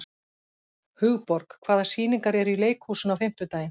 Hugborg, hvaða sýningar eru í leikhúsinu á fimmtudaginn?